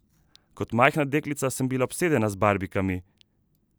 Kot majhna deklica sem bila obsedena z barbikami!